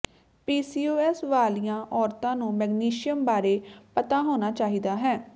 PCOS ਵਾਲੀਆਂ ਔਰਤਾਂ ਨੂੰ ਮੈਗਨੇਸ਼ੀਅਮ ਬਾਰੇ ਪਤਾ ਹੋਣਾ ਚਾਹੀਦਾ ਹੈ